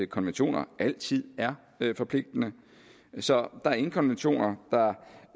konventioner altid er forpligtende så der er ingen konventioner